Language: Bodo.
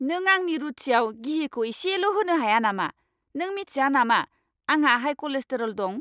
नों आंनि रुथियाव गिहिखौ इसेल' होनो हाया नामा? नों मिथिया नामा आंहा हाइ कलेस्ट्रल दं?